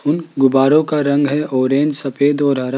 उन गुब्बारों का रंग है ऑरेंज सफेद और हरा--